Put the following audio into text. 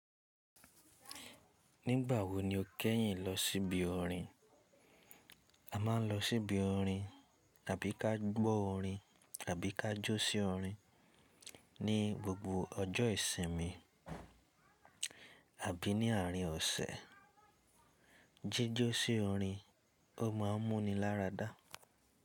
Nígbà wo ni o kẹ́yìn lọ sí ibi ọ̀rin? A máa ń lọ sí ibi ọ̀rin àbí ka gbọ́ ọ̀rin àbí ka jó sí ọ̀rin ní gbogbo ọjọ́ ìsinmi àbí ní àárín ọ̀sẹ̀. Jéjọ́ sí ọ̀rin ó máa ń mú ni láradá.